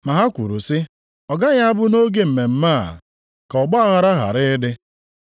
Ma ha kwuru sị, “Ọ gaghị abụ nʼoge mmemme a, ka ọgbaaghara ghara ịdị.”